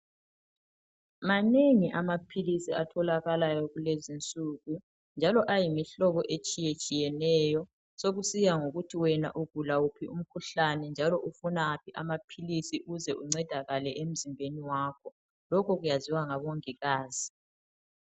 Manengi amaphilisi atholakalayo kulezinsuku njalo ayimihlobo etshiyetshiyeneyo sokusiya ngokuthi wena ugula wuphi umkhuhlane njalo ufuna waphi amaphilisi ukuze uncedakale emzimbeni wakho. Lokho kwaziwa ngabongikazi.